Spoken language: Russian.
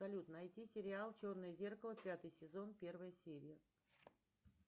салют найти сериал черное зеркало пятый сезон первая серия